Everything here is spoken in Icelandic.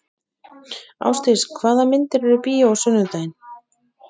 Ásdís, hvaða myndir eru í bíó á sunnudaginn?